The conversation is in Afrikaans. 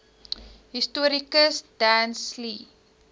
historikus dan sleigh